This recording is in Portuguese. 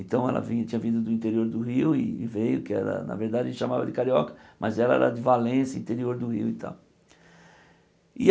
Então, ela vinha tinha vindo do interior do Rio e veio, que era, na verdade, chamava de carioca, mas ela era de Valência, interior do Rio e tal.